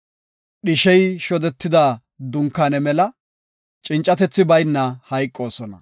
Dhishey shodetida dunkaane mela cincatethi bayna hayqoosona.’ ”